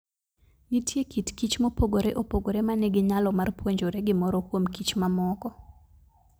Nitie kit kichmopogore opogore ma nigi nyalo mar puonjore gimoro kuom kichmamoko.